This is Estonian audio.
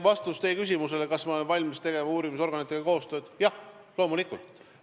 Vastus teie küsimusele, kas ma olen valmis tegema uurimisorganitega koostööd, on jah, loomulikult.